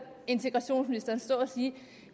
integrationsministeren stå og sige at